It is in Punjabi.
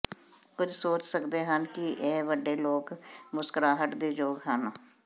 ਕੁਝ ਸੋਚ ਸਕਦੇ ਹਨ ਕਿ ਇਹ ਵੱਡੇ ਲੋਕ ਮੁਸਕਰਾਹਟ ਦੇ ਯੋਗ ਹਨ